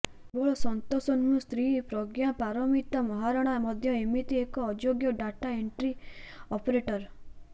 କେବଳ ସନ୍ତାଷ ନୁହେଁ ସ୍ତ୍ରୀ ପ୍ରଜ୍ଞାପାରମିତା ମହାରଣା ମଧ୍ୟ ଏମିତି ଏକ ଅଯୋଗ୍ୟ ଡାଟା ଏଣ୍ଟ୍ରି ଅପରେଟର